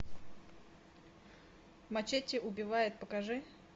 мачете убивает покажи